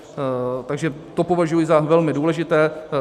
Takže to považuji za velmi důležité.